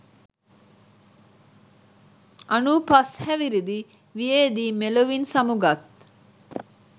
අනූ පස් හැවිරිදි වියේදී මෙලොවින් සමු ගත්